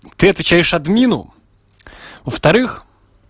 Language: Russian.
ты отвечаешь админу во-вторых